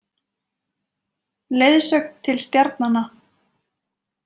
Leiðsögn til stjarnanna.